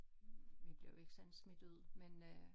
Vi bliver jo ikke sådan smidt ud men øh